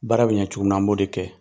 Baara be ɲɛ cogo min na, an b'o de kɛ.